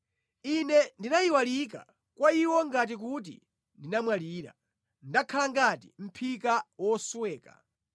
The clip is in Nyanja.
Ine ndinayiwalika kwa iwo ngati kuti ndinamwalira; ndakhala ngati mʼphika wosweka.